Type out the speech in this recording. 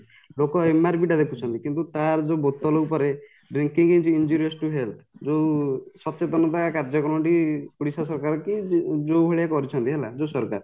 ଲୋକ MRP ଟା ଦେଖୁଛନ୍ତି କିନ୍ତୁ ତାର ଯୋଉ ବୋତଲ ଉପରେ drinking is injurious to health ଯୋଉ ସଚେତନତା କାର୍ଯ୍ୟକର୍ମ ଟି ଓଡିଶା ସରକାରକି ଯୋଉ ଭଳିଆ କରିଛନ୍ତି କି ହେଲା ଯୋଉ ସରକାର